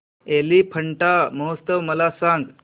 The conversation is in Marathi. एलिफंटा महोत्सव मला सांग